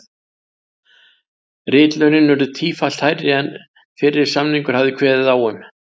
Ritlaunin urðu tífalt hærri en fyrri samningur hafði kveðið á um.